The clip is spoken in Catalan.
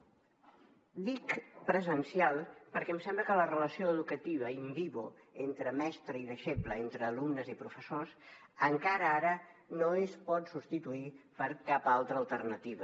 dic presencial perquè em sembla que la relació educativa in vivo entre mestre i deixeble entre alumnes i professors encara ara no es pot substituir per cap altra alternativa